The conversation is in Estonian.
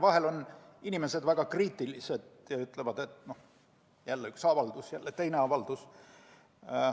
Vahel on inimesed väga kriitilised ja ütlevad, et noh, jälle üks avaldus, jälle teine avaldus.